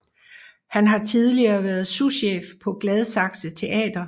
Han har tidligere været souschef på Gladsaxe Teater